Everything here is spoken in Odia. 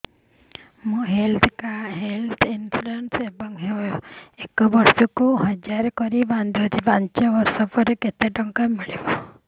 ମୁ ହେଲ୍ଥ ଇନ୍ସୁରାନ୍ସ ଏକ ବର୍ଷକୁ ହଜାର କରି ବାନ୍ଧୁଛି ପାଞ୍ଚ ବର୍ଷ ପରେ କେତେ ଟଙ୍କା ମିଳିବ